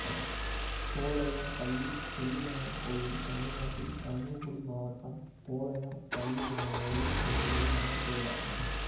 போளையம் பள்ளி செல்லியம்மன் கோயில் தமிழ்நாட்டில் தர்மபுரி மாவட்டம் போளையம் பள்ளி என்னும் ஊரில் அமைந்துள்ள அம்மன் கோயிலாகும்